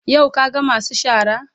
Yau ka ga masu shara?